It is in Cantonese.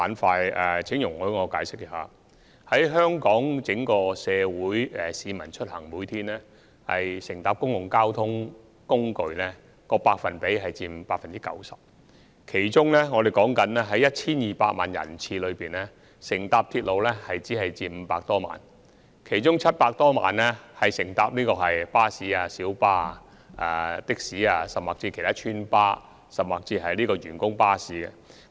在整體香港社會，市民每天出行乘搭交通工具的比例為 90%， 而在 1,200 萬人次中，乘搭鐵路的僅佔500多萬人次，其餘700多萬人次乘搭巴士、小巴、計程車、村巴或員工巴士等。